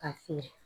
Ka se